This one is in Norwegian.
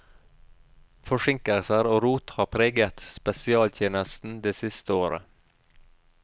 Forsinkelser og rot har preget spesialtjenesten det siste året.